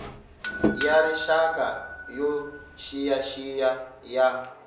ya rixaka yo xiyaxiya ya